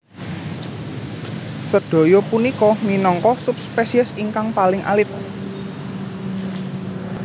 Sedaya punika minangka subspesies ingkang paling alit